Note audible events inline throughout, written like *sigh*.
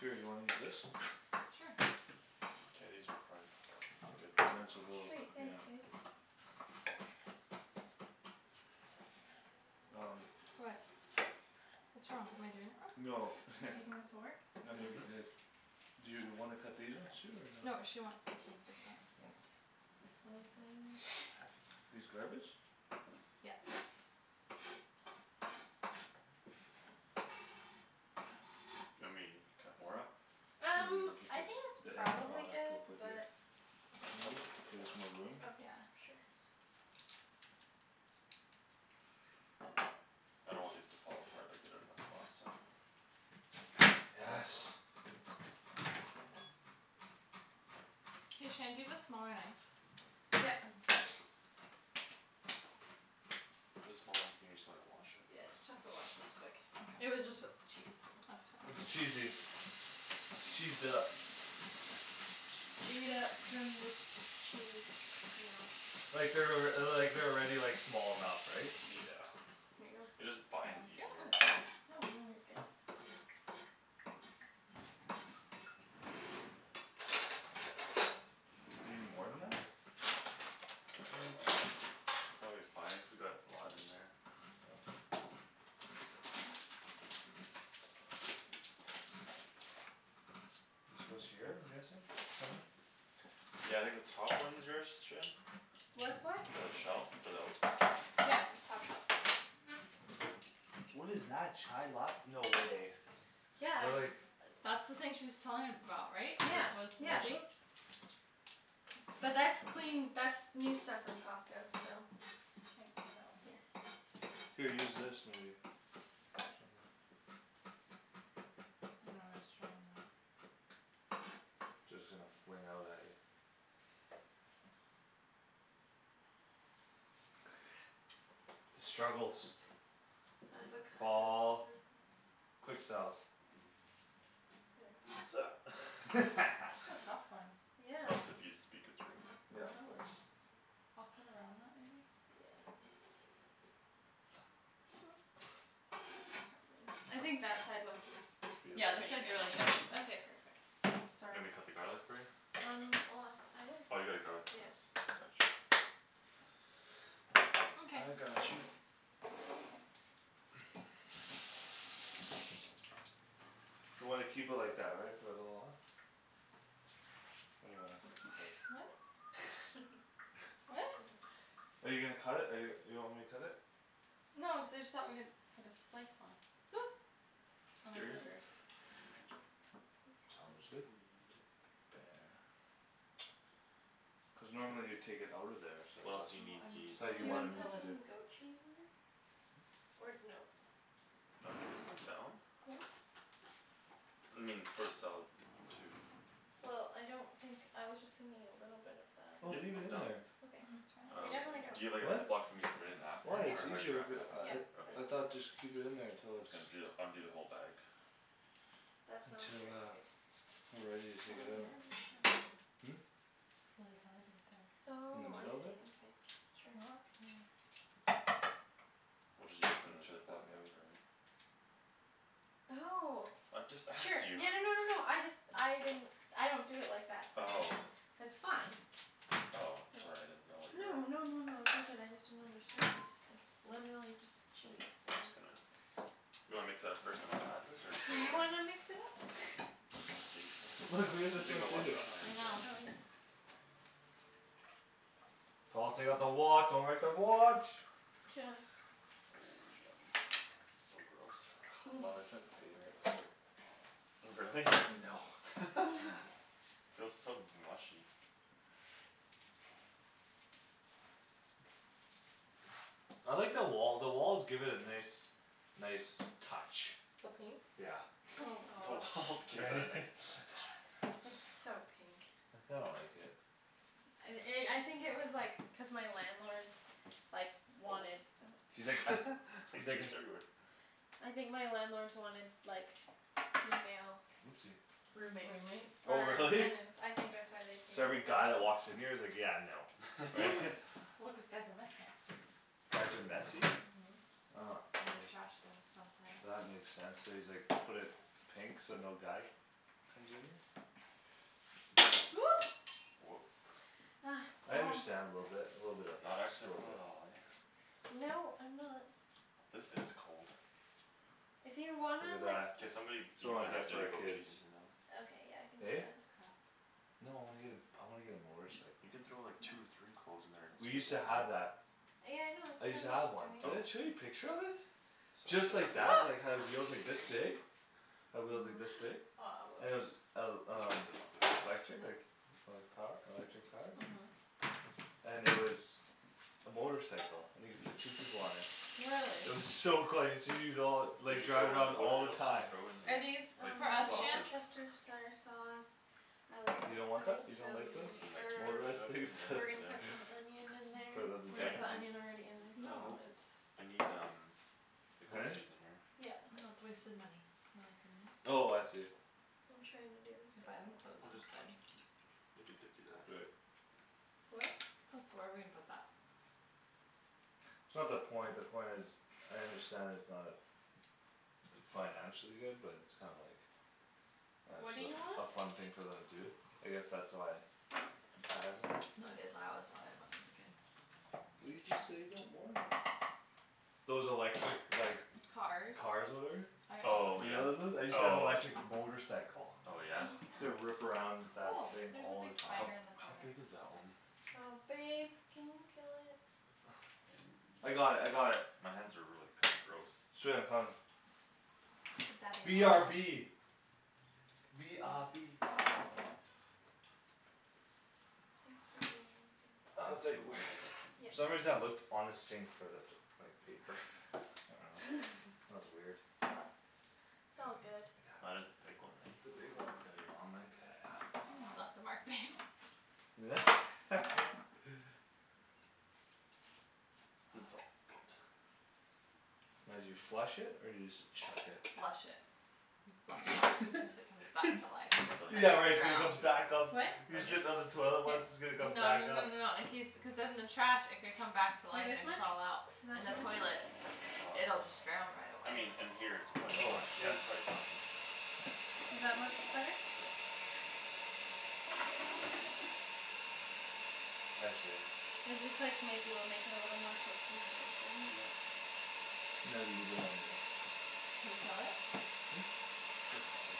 Here, you wanna use this? Sure. K, these are probably good I'm doing so enough little. Sweet, ish. Yeah. thanks, babe. Um What? What's wrong? Am I doing it wrong? No Do you think this *laughs* will work? No, he already did Mhm. his. Do you wanna cut these ones too or no? No, she wants these ones like that. Oh. Slice it. These garbage? Yes. You want me to cut more up? I'm Um, gonna put I this, think that's the end probably product good we'll put here. but Can you I'll do move? a little bit Give more. us more room? Yeah. Okay, sure. I don't want these to fall apart like they did on us last time. Yes. Hey, Shan, do you have a smaller knife? Yep. There's a small one here, you just gonna wash it? Yeah, just have to wash this quick. It Mkay. was just with *noise* cheese, so. That's It's fine. cheesy. It's cheesed up. Gee it up from the Chee Like they're alrea- uh the, like, they're already like, small enough, right? Yeah. Here you go. It just binds easier. *noise* No, no, you're good. You need more than that? *noise* Probably fine cuz we got a lot in there. This goes here? I'm guessing? Somewhere? Yeah, I think the top one's yours, Shan? What's what? The shelf for the oats? Yep. Top shelf. What is that? Chai lat- no way. They're Yeah like That's the thing she was telling about, right? Yeah, That was yeah. Which moldy? But *noise* that's clean, that's new stuff from Costco, so. I can't get it out. Here. Here, use this maybe. Or something. No, I was trying that. Just gonna fling out at you. *noise* The struggles. Avocado Paul. struggles. Quick selves. *laughs* *laughs* That's a tough one. Yeah. Helps if you speak it through. Yeah, of Oh, course. I'll cut around that maybe. Yeah. *noise* Okay. I think that side looks It's Yeah, beautiful. this pretty side's good really good. anyways. Okay, perfect. Oops, You sorry. want me to cut the garlic for you? Um well, I was, Oh, you got a garlic yeah. press. Gotcha. Mkay. I got you. You wanna keep it like that, right? For a little while? Or do you wanna cut it? What? *laughs* I *laughs* What? dunno. Are you gonna cut it? Or you, you want me to cut it? No, I just thought we could put this slice on. Oop. On our Scare you? Hey burgers. I Tom guess. is good. T- *inaudible* Cuz normally you'd take it out of there so I What else thought, Well, do you need, do I'm you I need, just thought telling like Do you you you wanna wanted to me put kill to it. *inaudible* do some goat cheese in there? Or no? I'm down. I mean, it's for the salad too. Well, I don't think, I was just thinking a little bit of that. Oh, Yep, leave it I'm in down. there. I Okay. mean, it's fine We I'll Um, definitely don't just do it. do you have, like, a What? Ziploc for me to put it in after? Why? Or It's how do you easier wrap if Yep. it it up uh after? it Yep. Okay. I So cool. thought just keep it in there I'm until just it's gonna ju the, undo the whole bag. That sounds Until great, uh babe. We're ready to It's really take it hard out. right there. Hmm? It's really hard right there. In the Oh, I middle see, there? okay, sure. Okay. We'll, just use it from And the chuck Ziploc that maybe. after, right? Oh I just sure, asked you. *laughs* yeah, no no no no, I just, I didn't I don't do it like that but it's Oh. That's fine. Oh, sorry I didn't know It's what no your no no no no, it's all good. I just didn't understand; it's literally just K, cheese, I'm so. just gonna. You wanna mix that up first then I'll add this or just Do right you away? wanna *laughs* mix it up? *laughs* *noise* Babe, have to take my Look, watch, we do can the you take same my too. watch off? My I hands know. are Oh, yeah. dirty. Paul, take off the wa- don't wreck the watch. *noise* Oh, yummy. So gross. Love i- *noise* it's my favorite part. Really? No. *laughs* *laughs* Feels so mushy. I like the wall, the walls give it a nice Nice touch. The pink? Yeah. Oh *laughs* *laughs* The gosh. walls give it a nice touch. *laughs* It's so pink. I kinda like it. And i- I think it was, like, cuz my landlords Like, Oh. wanted, oh He's like *laughs* *noise* He's He's like a juiced everywhere. I think my landlords wanted, like, female Oopsie Roommates. Roommate? Oh Or really? tenants. I think that's why they painted So every it guy that pink. walks in here is like, "Yeah, no." Right? *laughs* *laughs* *laughs* Well, cuz guys are messy. Guys are messy? Mhm, and they trash *noise* things sometimes. That makes sense; so he's, like, put it Pink? So no guy comes in here? Oop. Whoop. Ugh, I Paul. understand a little bit, a little bit of Not it, just a accident little prone at bit. all, eh? No, I'm not. This is cold. If you Look wanna, at like that. K, somebody, you Someone might get have it to for do the our goat kids. cheese in here though. Okay, yeah, I can do Eh? that. No, I wanna get a, I wanna get a Y- motorcycle. you can throw, like, No. two or three cloves in there and We used squeeze That's to at *inaudible* have once. that. Yeah, I know, it's I what I used to was have one. doing. Did Oh. I show you a picture of it? Sorry, Just didn't like see. that, *noise* like, had wheels, like, this big. *laughs* Had wheels like this No. Aw, big. And it was oops. el- We should rinse it off, um like, - right now. lectric? Okay Like, like, power, electric powered? Mhm. And it was a motorcycle and you could fit two people on it. Really? It was so cool I used to use it all, Did like, you throw, drive it around what all did, the else did you time. throw in Are here? these Like for Um us, the Shan? sausage worcestershire sauce. I was You gonna don't want put that? in You don't like those? some You mean like herbs. Motorized ketchup things and *laughs* We're herbs, gonna yeah. put some onion in For there them to or is drive? the onion already in there? Uh, No, nope, it's I need um The goat Huh? cheese in here. Yeah. No, it's a waste of money, Anthony. Oh I see. I'm trying to do this You buy them garlic. clothes We'll just instead. We could dip you that. Do it. What? This, where are we gonna put that? It's not the point; the point is I understand it's not d- Financially good but it's kinda like Uh What do you just want? a f- a fun thing for them to do. I guess that's why I had one. No, it is, I always wanted one as a kid. But you just said you don't want it. Those electric, like Cars. Cars whatever? I Oh, alw- You yeah, know those ones? I used to have oh. electric motorcycle. Oh, yeah? *laughs* Used to rip around that Oh, thing there's a all big the How, time. spider in the how corner. big is that one? Oh babe, can you kill it? I got it. I got it. *noise* My hands are really kinda gross. Sweet, I'm coming. The daddy B R long B. legs. B R B. Thanks for doing that, babe. I I, was like, I "Where" need the goat cheese in *laughs* there Yep. For some soon. reason I looked on the sink for that, like, paper. I dunno. *laughs* *laughs* That was weird. - t's *noise* I all good. That got. is a big one, It's eh? a big one. Daddy long leg. Yeah, yeah. You left a mark, babe. *laughs* It's all good. Now do you flush it or do you just chuck it? Flush it. You flush. *laughs* Cuz it comes back It's, to life if So like onion in left yeah, like it's gonna there, come drowned. too? back up. What? You're Onion? sitting on the toilet Yes. what's, it's gonna come No no back no up. no no, in case, cuz then the trash, it could come back to Like life this and much? crawl out. Is In that the too much? toilet Oh, that's a lot. it'll just drown right I away. mean in here it's probably Oh fi- yeah, shoot. it's probably fine. Is that much better? Sure. I see. It's just, like, maybe we'll make it a little more cohesive, right? Yep. *inaudible* Can we kill it? Hmm? It's fine.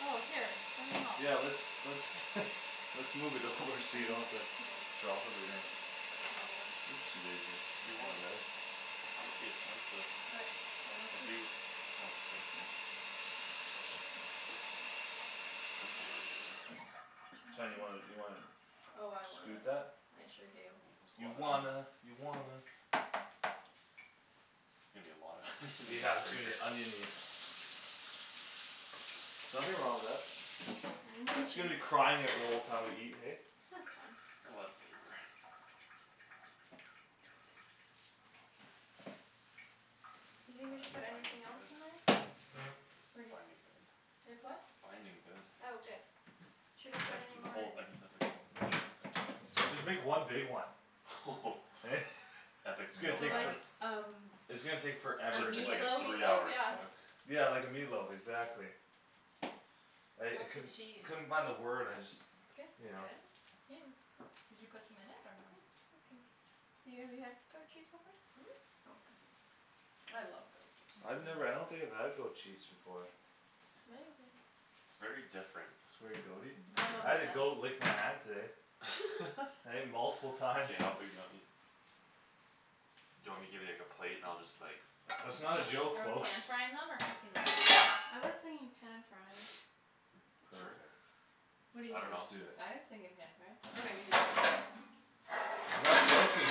Oh, here, let me help. Yeah, let's, let's *laughs* Let's move it Should over these, so are you don't these have to too big? drop Should everything. I slice 'em a little more? Oopsie daisy. If you That's my want. bad. I'm okay with chunks but Okay, then let's If do you, chunks. oh, k. Chunky. Shan, you wanna, you wanna Oh, I scoot wanna. that? I sure do. That's a You lotta onion. wanna, you wanna There's gonna be a lotta onion in these Yeah, it's gonna be burgers. *laughs* onion-y. Nothing wrong with that. She's Hands are gonna be good. crying at the whole time we eat, hey? That's fine. A lotta flavor. Do you Oh, think we should that's put binding anything else in there? good. It's Pretty. binding good. It's what? Binding good. Oh, good. Should I put Like, any the more whole, I can put, like, the whole chunk of tomatoes. Just make one big one. *laughs* *laughs* Epic It's gonna Meal So take for- Time. like um It's gonna take A forever It's to like, like Like the a meatloaf? meat three loaf, hour yeah. cook. Yeah, like a meatloaf, exactly. I, I How's the couldn't, cheese? couldn't find the word. I just Good. Is You it know. good? Yeah. Did you put some in it Yeah, or no? awesome. So you have, you had goat cheese before? Mhm. Okay. I love goat cheese. I've never, I don't think I've had goat cheese before. It's amazing. It's very different. It's very goat- y? I'm I had a goat obsessed. lick my hand today. *laughs* *laughs* Hey? Multiple times. K, how big do you want these? Do you want me to give you, like, a plate and I'll just like That's not a joke, Are we pan folks. frying them or cooking them? I was thinking pan frying. *noise* Sure. Perfect. What do you I Let's dunno. think? do it. I was thinking pan fry. That's how we Okay. do ours. Not joking.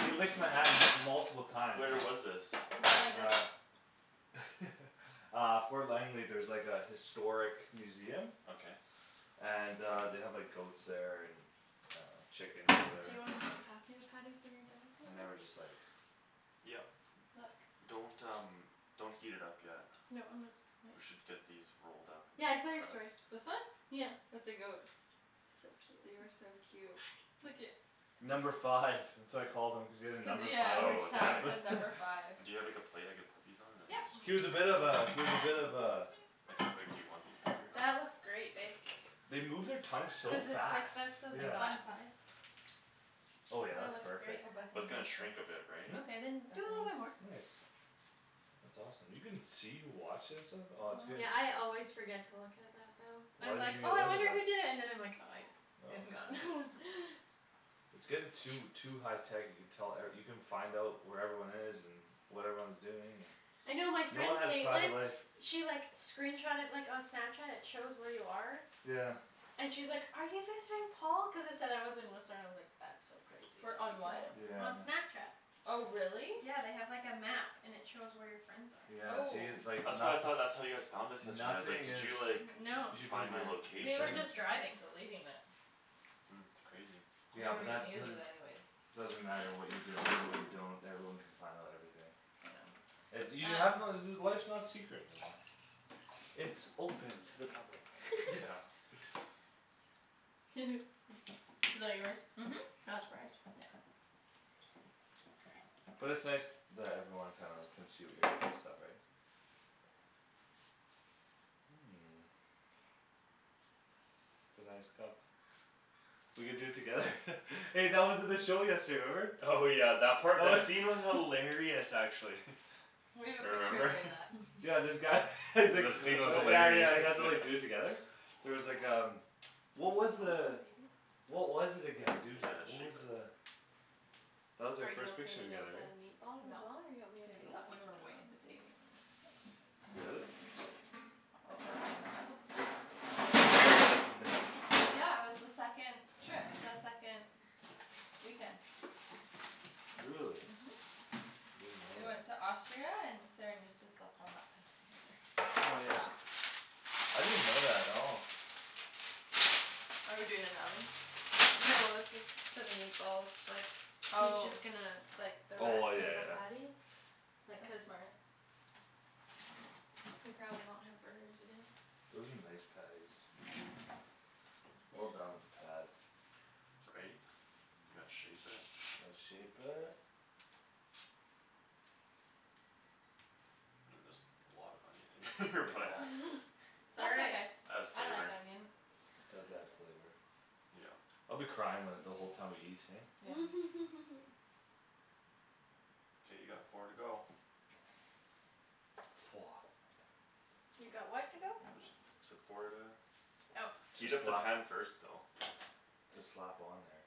He licked my hand m- multiple times. Where was this? I really like this. Uh *laughs* Uh Fort Langley, there's, like, a historic museum Okay. And uh they have, like, goats there and And uh chickens, Do whatever. you wanna just pass me the patties when you're done with And the they were just, rest? like Yep. Look. Don't, um, don't heat it up yet. No, I'm not. *noise* We should get these rolled up in Yeah, there I saw your story. first. This one? Yeah. With the goats. So They cute. are so cute. Look at Number five. That's what I call them. Cuz he has a Cuz, yeah, number five yeah, on his Oh, his tag tag? tablet. said *laughs* number five. Do you have, like, a plate I could put these on and then Yep. this He was a bit of goes a, he was a bit of a Like how big do you want these, bigger? That looks great, babe. They move their tongue so Cuz it's, like, fast, that's the I'm yeah. not bun size. Oh yeah, That that's looks great. perfect. Oh, Bethany That's gonna watched it. shrink a bit, right? Hmm? Okay, then do a little bit more. Bethany. Nice. That's awesome. You can see, wash and stuff? Oh it's gonna Yeah, I always forget to look at that though. Why I'm like, didn't you "Oh I look at wonder who that? did it." And then I like "Oh I- it's Oh gone." *laughs* It's getting too, too high tech you can tell, er, you can find out where everyone is and What everyone's doing I and know my no one friend has private Caitlin life. She, like, screenshotted like on Snapchat; it shows where you are Yeah. And she's like, "Are you visiting Paul?" cuz it said I was in Whistler, I was like "That's so crazy that Wher- you can on what? Yeah, know" I on know. Snapchat. Oh, really? Yeah, they have, like, a map and it shows where your friends Yeah, are. see, Oh. like That's what I nothi- thought, that's how you guys found us yesterday. I was like, Nothing "Did is you like No, Find my we were location?" just driving. Deleting it. Mm. It's crazy. You Yeah, don't but that even use it doesn't anyways. Doesn't matter what you delete and what you don't. Everyone can find out everything. I know. *noise* You have to Um know *noise* life's not secret anymore. It's open to the public. *laughs* Yeah. *laughs* *laughs* Is that yours? Mhm. Yeah. Not surprised. But it's nice that everyone kinda can see what you're doing and stuff, right? *noise* It's a nice cup. We could do it together. *laughs* Hey, that was at the show yesterday, remember? Oh, yeah, that part? That scene was *laughs* hilarious, actually. We have a picture Remember? *laughs* doing that. *laughs* Yeah, this guy *laughs* he's like, The scene was uh yeah, yeah, he has hilarious. to, like, do it *laughs* together. There was like um, what was Who's the that *inaudible* baby? What was it again, Dude, dude, you gotta what was shape it. the That was our Are you first okay picture to make together, that right? meatball as No. well? Or do you want me to Baby, No, take tha- I over we can were for do way that. you? into dating when we took it. Really? That was like the end of bible school. *laughs* Yeah, that's in there Yeah, it was the second Trip, the second weekend. Really? Mhm. I didn't know We that. went to Austria and Saran used to slept on that bed together. Oh, yeah? I didn't know that at all. Are we doing in the oven? No, that's just for the meatballs, like He's Oh. just gonna, like, the Oh I, rest yeah, of the yeah. patties. Like, That's cuz smart. We probably won't have burgers again. Those are nice patties. Well Yeah. done with the pad. Right? You gotta shape it. Let's shape it. I mean there's a lot of onion in here *laughs* but *laughs* Yeah. It's all That's right. okay, Adds I like flavor. onion. It does add flavor. Yeah. I'll be crying when, the whole time we eat, hey? Yeah. *laughs* K, you got four to go. Woah. You got what to go? Just said four to Oh. Heat Just up the slap pan first though. Just slap on there.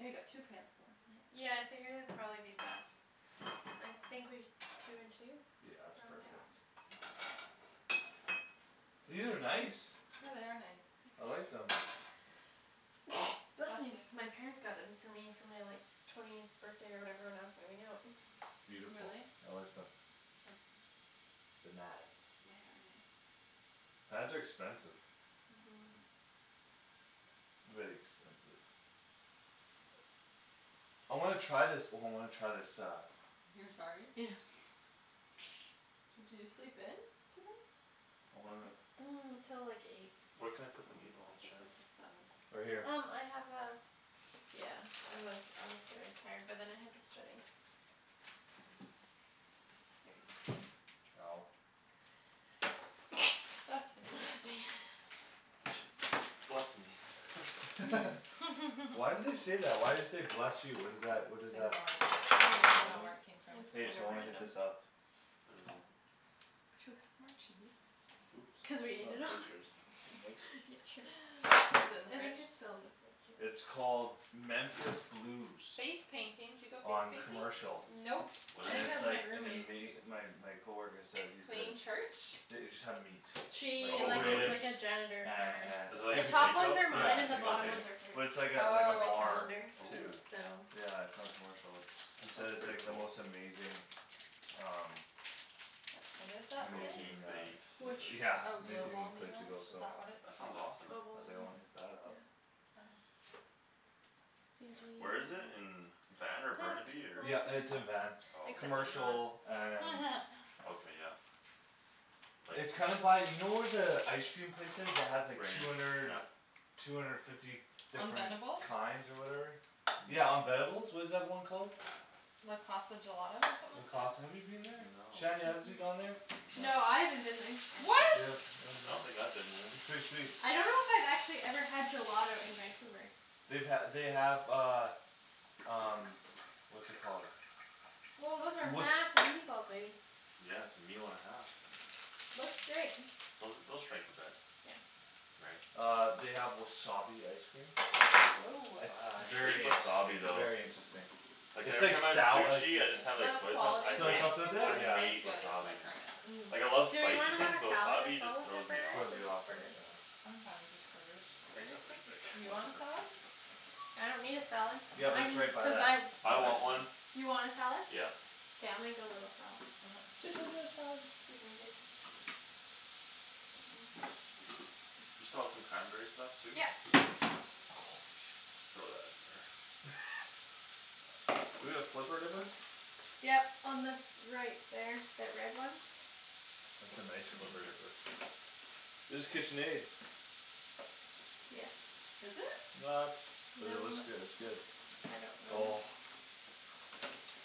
Oh, you got two pans going, nice. Yeah, I figured it'd probably be best. I think we, two and two? Yeah, it's Yeah. Probably. perfect. These are nice. Yeah, they are nice. I like *noise* them. *noise* Bless Bless me! you. My parents got them for me for my, like Twentieth birthday or whatever when I was moving out. *noise* Beautiful, Really? I like them. *noise* They nice. They are nice. Pans are expensive. Mhm Very expensive. I wanna try this, oh, I wanna try this uh You're sorry? Yeah. Did you sleep in? Today? I wanna *noise* Till like eight. Where can I Oh, put the I meatballs, slept Shan? in till seven. Right here Um I have a Yeah, I was, I was very tired but then I had to study. Ow *noise* Bless Bless you. me, yeah. *noise* Bless me. *laughs* *laughs* *laughs* Why do *laughs* they say that? Why do you say "Bless you"? What is that? What is I have that? no *noise* idea. I don't really I don't know where know. it came from. It's Hey, kinda so wanna hit random. this up. What is it? Should we cut some more cheese? Oops, Cuz we ate it not all butchers. Nope. *laughs* *noise* Is it in the I think fridge? it's still in the fridge, yeah. It's called Memphis Blues. Face painting. Did you go face On painting? Memphis Blues. Commercial. Nope, What I is And think that it's it? was my like an roommate. ama- my. my coworker said. he said Plain church? The- it just have meat. Like She, Oh, like, is really? like ribs a janitor and, for Is it and like The a everything. top ones steakhouse are kinda Yeah, mine and it's thing? the like a bottom Okay. steakh- ones are hers. But it's like a, like a And Oh, the okay. bar calendar too Oh. so Yeah, it's on Commercial. It's, he That said sounds it's pretty like the cool. most amazing Um That's What does mine. that say? Amazing Protein uh base. Which? yeah, Oh, amazing *laughs* Globalme place to lunch? go, Is so. that what it's That sounds called? awesome. I was like, "I Globalme, wanna hit that up." yeah C Where is G it? In um Van or Test. Burnaby or Wrong Yeah, turn. it's in Van. Oh, okay Except I'm not. Commercial and Okay, yeah. Like It's kinda by, you know where the ice cream place is that has like Rain two or hundred Shi- Two hundred fifty On different Venebles? kinds or whatever? Yeah, on *noise* Venebles? What is that one called? Le Casa Gelato or Le something like that? Casa, have you been there? No. Shanny, has you *noise* gone there? No. No, I haven't been there. I don't think What? so. Yep, oh, I no? don't think I've been It's there. pretty sweet. I don't know if I've actually had gelato in Vancouver. They've ha- they have uh Um what's it called Woah, those are *noise* massive meatballs, baby. Yeah, it's a meal and a half. Looks great. Those, they'll shrink a bit. Yeah Right. Uh they have wasabi ice cream. Woah. *noise* It's Ah, I hate very wasabi interesting, though. very interesting. Like It's every like time I have sou- like sushi I just Okay. have, like, The soy sauce. I quality of Soy hate, ice sauce with cream though I it? Yeah. isn't as hate good as, wasabi, like, man. Earnest. Mm. Like, I love Do we spicy wanna have things a but salad as wasabi well just with our throws me burgers? off. Throws Or you off, just right? burgers? Yeah. I'm fine with just burgers. Just These are burgers? K. pretty big. Do you want a Whatever. salad? I don't need a salad, Yeah, but I it's mean right by cuz that I ice I want cream place. one. You want a salad? Yeah. K, I'll make a little salad. Okay. Listen to the salad. Excuse me, babe. You still have some cranberries left too? Yep Throw that in there. *laughs* We gonna flipper dipper? Yep, on this, right there, that red one. That's a nice flipper dipper. It's Kitchenaid. Yes. Is it? Not, but it No, looks good, it's good. I don't Oh know.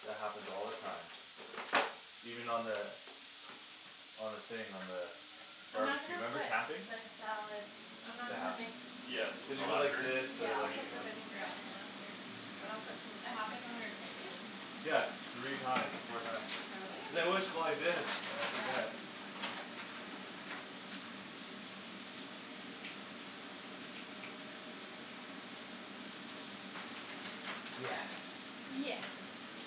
That happens all the time. Even on the On the thing, on the I'm not Barbecue, gonna remember put camping? the salad I'm not It gonna make happens. Yeah, You with Cuz the you put go like lacquer? this, this yeah, to, I'll I mean. like, put you the know Yeah. vinaigrette in after. K. And I'll put some It of the happened when we were cranberries camping? in. Yeah, three times, four times. Really? Cuz I always go like this, I Yeah. forget. Yes. Yes.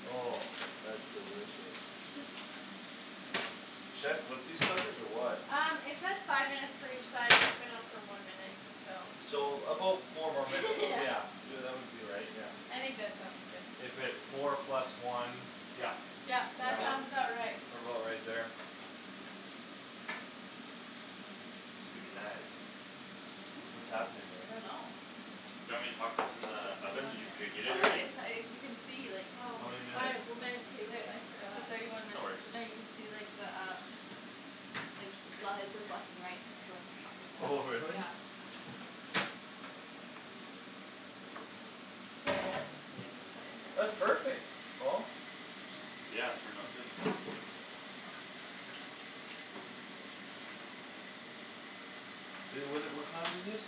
Oh, that's delicious. *laughs* Should I flip these suckers or what? Um it says five minutes for each side and it's been on for one minute, so. So about four more minutes, *laughs* Yeah yeah. Y- uh that would be right, yeah. I think that sounds good. If it, four plus one, yeah. Yep, Yeah, that well, sounds Yep. about right. what about right there? Could be nice. Hmm? What's happening I don't there? know. Do you want me to huck this in the Maybe oven? one Did you minute. preheat Oh it look already? it uh you can see like Oh. How many I minutes? w- meant to but It, I it's forgot. at thirty one No minutes. worries. No, you can see the um Like le- it says left and right; it's going up Oh and down, really? yeah. I'ma pass this to you to put in That's the perfect, Paul. Yeah, it turned out good. I- Would it, what kind is this?